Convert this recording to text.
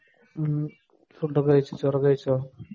ഹ്ം food ഒക്കെ ചോറ് ഒക്കെ കഴിച്ചോ?